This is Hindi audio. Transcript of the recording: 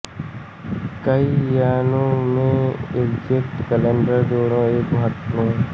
कई मायनों में एज़्टेक कैलेंडर दोनों एक महत्वपूर्ण